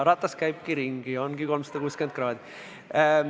Ratas käibki ringi, ongi 360 kraadi.